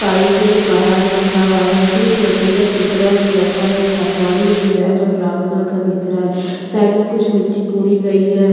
Pipe है जो बाहर रखा हुआ है फिर एक लकड़ी का टुकड़ा है जो रखा हुआ है एक हथोड़ी है जो रेड और ब्राउन कलर का दिख रहा है साइड में कुछ मिट्टी कुड़ी गई है। --